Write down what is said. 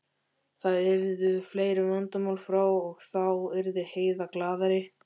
Þá yrðu fleiri vandamál frá og þá yrði Heiða glaðari.